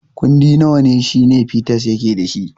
Kundi nawa ne Shina Peters yake da shi?